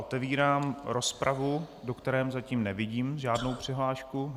Otevírám rozpravu, do které zatím nevidím žádnou přihlášku.